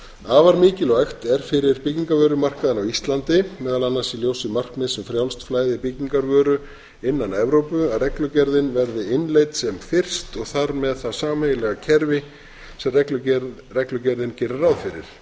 afar mikilvægt er fyrir byggingarvörumarkað á íslandi meðal annars í ljósi markmiðs um frjálst flæði byggingarvöru innan evrópu að reglugerðin verði innleidd sem fyrst og þar með það sameiginlega kerfi sem reglugerðin gerir ráð fyrir að